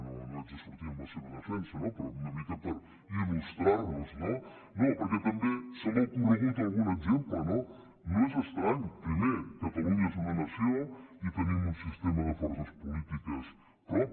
no no haig de sortir en la seva defensa no però una mica per il·lustrar los no no perquè també se m’ha ocorregut algun exemple no no és estrany primer catalunya és una nació i tenim un sistema de forces polítiques propi